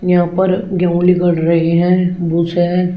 यहां पर गेहूं निकल रही है भूसे है।